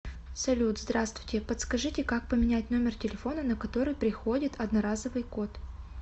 салют здравствуйте подскажите как поменять номер телефона на который приходит одноразовый код